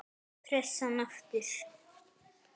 Pressan aftur.